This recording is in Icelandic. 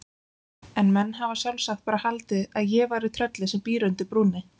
En menn hafa sjálfsagt bara haldið að ég væri tröllið sem býr undir brúnni.